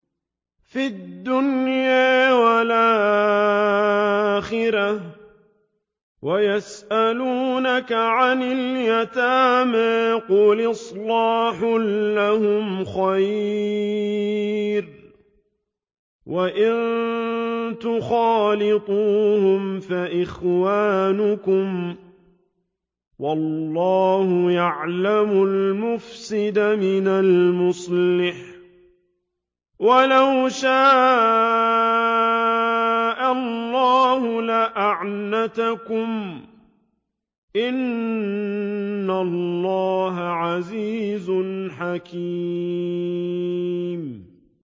فِي الدُّنْيَا وَالْآخِرَةِ ۗ وَيَسْأَلُونَكَ عَنِ الْيَتَامَىٰ ۖ قُلْ إِصْلَاحٌ لَّهُمْ خَيْرٌ ۖ وَإِن تُخَالِطُوهُمْ فَإِخْوَانُكُمْ ۚ وَاللَّهُ يَعْلَمُ الْمُفْسِدَ مِنَ الْمُصْلِحِ ۚ وَلَوْ شَاءَ اللَّهُ لَأَعْنَتَكُمْ ۚ إِنَّ اللَّهَ عَزِيزٌ حَكِيمٌ